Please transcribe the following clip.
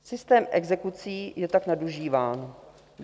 Systém exekucí je tak nadužíván.